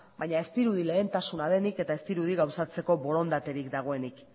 baina ez dirudi lehentasuna denik eta ez dirudi gauzatzeko borondaterik dagoenik